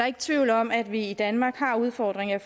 ikke tvivl om at vi i danmark har udfordringer